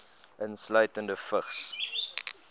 insluitende vigs